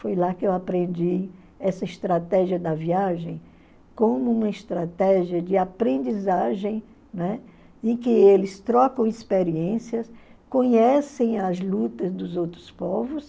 Foi lá que eu aprendi essa estratégia da viagem como uma estratégia de aprendizagem, né, em que eles trocam experiências, conhecem as lutas dos outros povos,